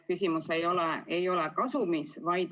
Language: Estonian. Küsimus ei ole kasumis.